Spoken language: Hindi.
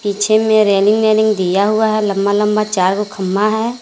पीछे में रेलिंग वेलिंग दिया हुआ है लंबा लंबा चार गो खम्मा है।